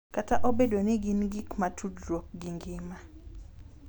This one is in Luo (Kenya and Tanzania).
Kata obedo ni gin gik ma tudruok gi ngima, .